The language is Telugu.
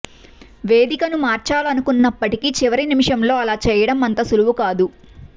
వేదికను మార్చాలనుకున్నప్పటికీ చివరి నిమిషంలో అలా చేయడం అంత సులువు కాదు